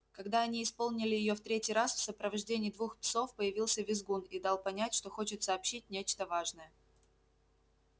когда они исполнили её в третий раз в сопровождении двух псов появился визгун и дал понять что хочет сообщить нечто важное